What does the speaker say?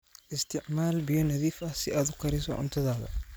Isticmaal biyo nadiif ah si aad u kariso cuntadaada.